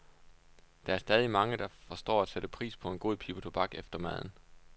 Der er stadig mange, der forstår at sætte pris på en god pibe tobak efter maden.